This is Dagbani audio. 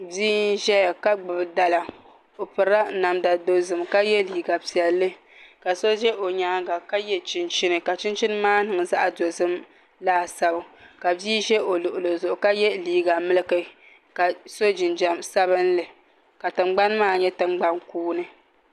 Bia n zɛya ka gbubi dala o pirila namda dozim ka yiɛ liiga piɛlli ka so za o nyanga ka yiɛ chinchini ka chinchini maa niŋ zaɣi dozim laa sani ka bia zɛ o luɣili zuɣu ka yiɛ liiga miliki ka so jinjam sabinli ka tiŋgbani maa yɛ tiŋgbani kuuni.